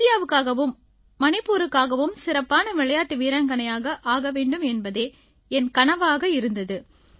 இந்தியாவுக்காகவும் மணிப்பூருக்காகவும் சிறப்பான விளையாட்டு வீராங்கனையாக ஆக வேண்டும் என்பதே என் கனவாக இருந்தது